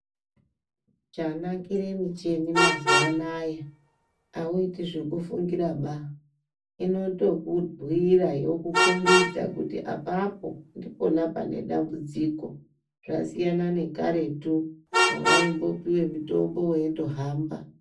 Chanakire mishini mazuva anaya auiti zvekufungira baa inotokubhuyira yokukombidza kuti apapo ndipona pane dambudziko zvasiyana nekaretu pawaingo piwe mutombo weindohamba.